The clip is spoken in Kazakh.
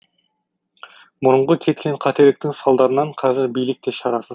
бұрынғы кеткен қателіктің салдарынан қазір билік те шарасыз